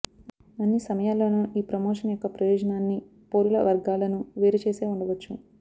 అన్ని సమయాల్లోనూ ఈ ప్రమోషన్ యొక్క ప్రయోజనాన్ని పౌరుల వర్గాలను వేరుచేసే ఉండవచ్చు